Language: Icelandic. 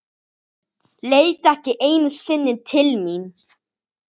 Leit ekki einu sinni til mín.